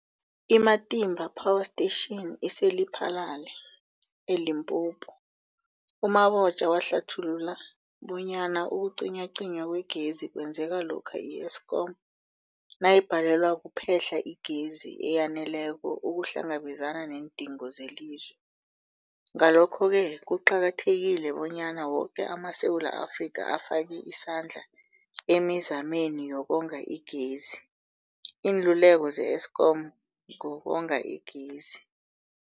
I-Matimba Power Station ise-Lephalale, eLimpopo. U-Mabotja wahlathulula bonyana ukucinywacinywa kwegezi kwenzeka lokha i-Eskom nayibhalelwa kuphe-hla igezi eyaneleko ukuhlangabezana neendingo zelizwe. Ngalokho-ke kuqakathekile bonyana woke amaSewula Afrika afake isandla emizameni yokonga igezi. Iinluleko ze-Eskom ngokonga igezi.